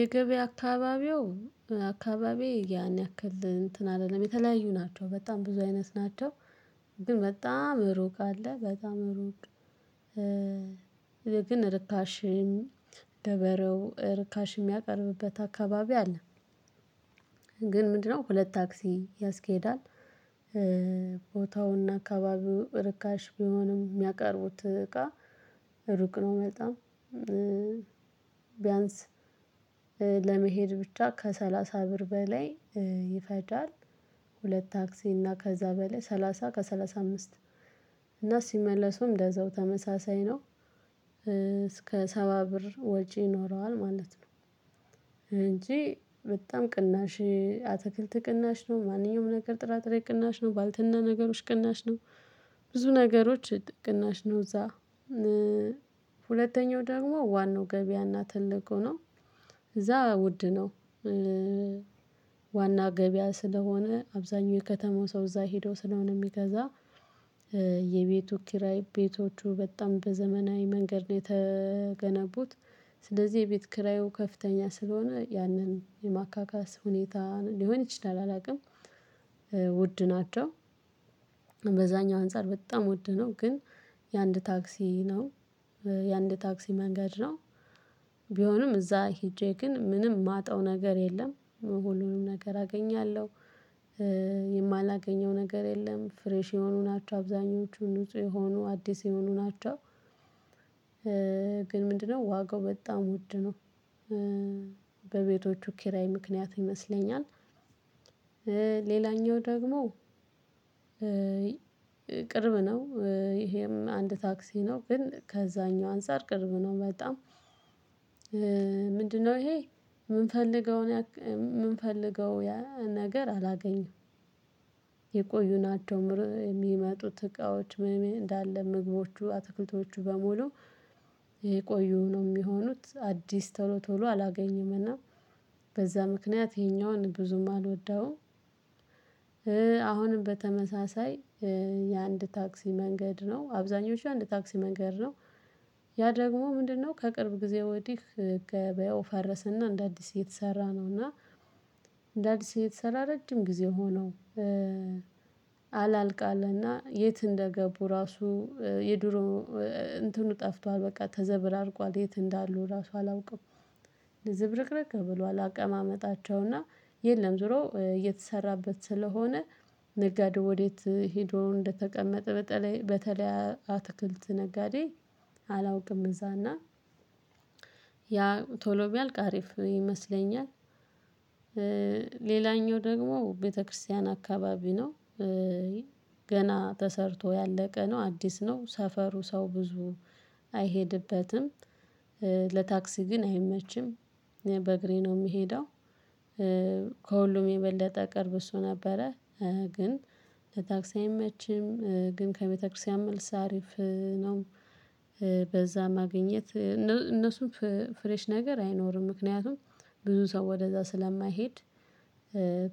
የገበያ አካባቢው አካባቢ ያን ያክል እንትን አይደለም የተለያዩ ናቸው በጣም ብዙ አይነት ናቸው። ግን በጣም እሩቅ አለ በጣም እሩቅ ግን ርካሽም ደበረው ርካሽ የሚያቀርብበት አካባቢ አለ። ግን ምንድነው ሁለት ታክሲ ያስኬዳል? ቦታውና አካባቢው ርካሽ ቢሆንም ሚያቀርቡት እቃ ሩቅ ነው በጣም ቢያንስ ለመሄድ ብቻ ከሰላሳ ብር በላይ ይፈጃል ሁለት ታክሲ እና ከዛ በላይ ሰላሳ ከሰላሳ አምስት እና ሲመለሱም እንደዛው ተመሳሳይ ነው። ሰባ ብር ወጪ ይኖረዋል ማለት ነው። እንጂ በጣም ቅናሽ አትክልት ቅናሽ ነው ማንኛውም ነገር ጥራጥሬ ቅናሽ ነው ባልትና ነገሮች ቅናሽ ነው። ብዙ ነገሮች ጥቅናሽ ነው። እዛ ሁለተኛው ደግሞ ዋናው ገበያና ትልቁ ነው። እዛ ውድ ነው። ዋና ገበያ ስለሆነ አብዛኛው የከተማው ሰው እዛ ሄዶ ስለሆነ የሚገዛ የቤቱ ኪራይ ቤቶቹ በጣም በዘመናዊ መንገድ ነው የተገነቡት። ስለዚህ የቤት ክራዩ ከፍተኛ ስለሆነ ያንን የማካካስ ሁኔታ ሊሆን ይችላል አላውቅም። ውድ ናቸው። በዛኛው አንፃር በጣም ውድ ነው። ግን የአንድ ታክሲ ነው የአንድ ታክሲ መንገድ ነው። ቢሆንም እዛ ሄጄ ግን ምንም ማጣው ነገር የለም ሁሉንም ነገር አገኛለሁ። የማላገኘው ነገር የለም። ፍሬሽ የሆኑ ናቸው አብዛኞቹ ንጹህ የሆኑ አዲስ የሆኑ ናቸው። ግን ምንድነው ዋጋው በጣም ውድ ነው። በቤቶቹ ኪራይ ምክንያት ይመስለኛል። ሌላኛው ደግሞ ቅርብ ነው ይሄም አንድ ታክሲ ነው ግን ከዛኛው አንፃር ቅርብ ነው በጣም። ምንድነው ይሄ? ምንፈልገውን ምንፈልገው ነገር አላገኝም። የቆዩን ናቸው የሚመጡት እቃዎች እንዳለ ምግቦቹ አትክልቶቹ በሙሉ የቆዩ ነው የሚሆኑት አዲስ ቶሎ ቶሎ አላገኘም። እና በዛ ምክንያት ይሄኛውን ብዙም አልወደውም። አሁንም በተመሳሳይ የአንድ ታክሲ መንገድ ነው አብዛኞቹ አንድ ታክሲ መንገድ ነው። ያ ደግሞ ምንድነው? ከቅርብ ጊዜ ወዲህ ገበያው ፈረሰና እንደ አዲስ የተሰራ ነው። እና እንደ አዲስ እየተሰራ ረጅም ጊዜ ሆነው። አላልቃለና የት እንደገቡ ራሱ የድሮ እንትኑ ጠፍቷል። በቃ ተዘብራርቋል የት እንዳሉ ራሱ አላውቅም። ለዝብርቅርቅ ብሏል አቀማመጣቸውና የለም ዞሮ እየተሰራበት ስለሆነ። ነጋዴ ወዴት ሄዶ እንደተቀመጠ በተለይ በተለይ አትክልት ነጋዴ። አላውቅም እዛ እና ያ ቶሎ ቢያልቅ አሪፍ ይመስለኛል። ሌላኛው ደግሞ ቤተክርስቲያን አካባቢ ነው። ገና ተሰርቶ ያለቀ ነው አዲስ ነው ሰፈሩ ሰው ብዙ አይሄድበትም። ለታክሲ ግን አይመችም። በእግሬ ነው ምሄደው። ከሁሉም የበለጠ ቅርብ እሱ ነበረ። ግን ለታክሳ አይመችም ግን ከቤተክርስቲያን መልስ አሪፍ ነው። በዛ ማግኘት እነሱም ፍሬሽ ነገር አይኖርም ምክንያቱም ብዙ ሰው ወደዛ ስለማይሄድ።